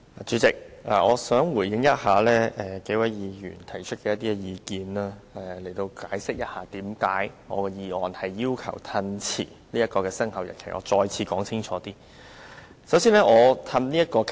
主席，我想回應數位議員提出的意見，並希望更清楚解釋為何我要提出議案，要求延後修訂規例的生效日期。